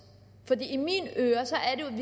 i